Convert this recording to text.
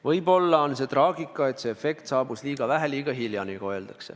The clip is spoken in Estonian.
Võib-olla on traagika selles, et see efekt saabus liiga hilja.